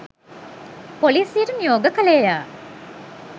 පොලිසියට නියෝග කළේය.